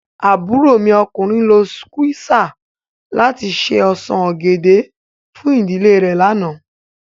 Àburó mi lo sukwéesà lati ṣe osan ogẹdẹ fun idile re làná